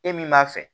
E min b'a fɛ